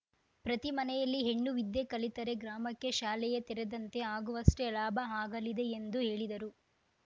ಪ್ರತಿ ಮನೆಯಲ್ಲಿ ಹೆಣ್ಣು ವಿದ್ಯೆ ಕಲಿತರೆ ಗ್ರಾಮಕ್ಕೆ ಶಾಲೆಯೇ ತೆರೆದಂತೆ ಆಗುವಷ್ಟೇ ಲಾಭ ಆಗಲಿದೆ ಎಂದು ಹೇಳಿದರು